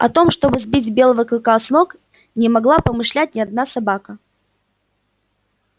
о том чтобы сбить белого клыка с ног не могла помышлять ни одна собака